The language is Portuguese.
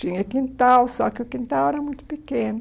Tinha quintal, só que o quintal era muito pequeno.